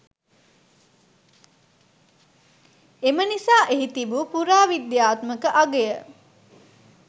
එම නිසා එහි තිබූ පුරාවිද්‍යාත්මක අගය